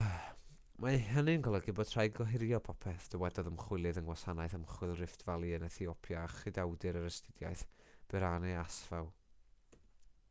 mae hynny'n golygu bod rhaid gohirio popeth dywedodd ymchwilydd yng ngwasanaeth ymchwil rift valley yn ethiopia a chydawdur yr astudiaeth berhane asfaw